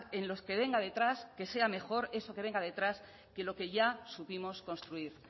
en los que vengan detrás que sea mejor eso que venga detrás que lo que ya supimos construir